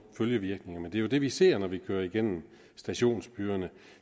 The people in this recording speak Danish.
følgevirkninger men det er jo det vi ser når vi kører igennem stationsbyerne